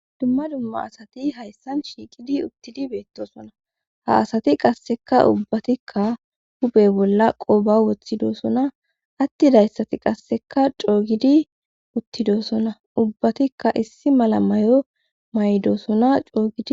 Dumma dumma asati hayssan shiiqidi uttidi beettosona ha asati qasseka ubbatikka uphe bolla qooba woththidosona attidayssati qasseka coogidi uttidosona ubbatikka issi mala may'o maydoosona coogidi.